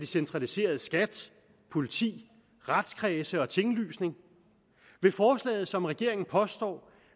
centraliserede skat politi retskredse og tinglysning vil forslaget som regeringen påstår